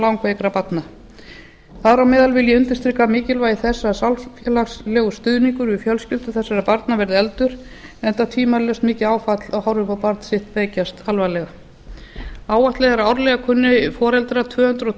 langveikra barna þar á meðal vil ég undirstrika mikilvægi þess að samfélagslegur stuðningur við fjölskyldur þessara barna verði efldur enda tvímælalaust mikið áfall að horfa upp á barn sitt veikjast alvarlega áætlað er að árlega kunni foreldrar tvö hundruð